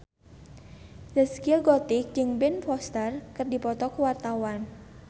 Zaskia Gotik jeung Ben Foster keur dipoto ku wartawan